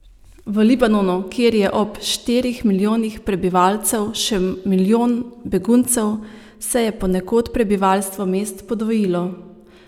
V Libanonu, kjer je ob štirih milijonih prebivalcev še milijon beguncev, se je ponekod prebivalstvo mest podvojilo.